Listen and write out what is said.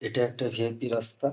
এটা একটা ভি.আই.পি. রাস্তা।